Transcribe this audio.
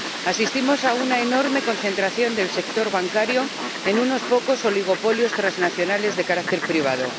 Asistimos a una enorme concentración del sector bancario en unos pocos oligopolios transnacionales de carácter privado.